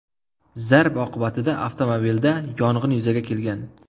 Zarb oqibatida avtomobilda yong‘in yuzaga kelgan.